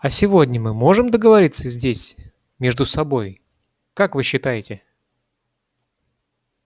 а сегодня мы можем договориться здесь между собой как вы считаете